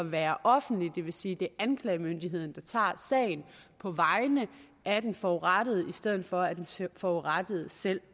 at være offentlig det vil sige at det er anklagemyndigheden der tager sagen på vegne af den forurettede i stedet for at den forurettede selv